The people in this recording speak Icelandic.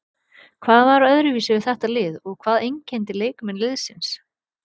Hvað var öðruvísi við þetta lið og hvað einkenndi leikmenn liðsins?